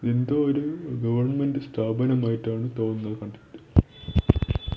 എന്തോ ഒരു ഗവൺമെൻറ് സ്ഥാപനമായിട്ടാണ് തോന്നുന്നത് കണ്ടിട്ട്.